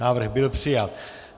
Návrh byl přijat.